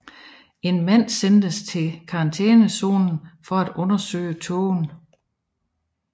En mand sendes til karantænezonen for at undersøge tågen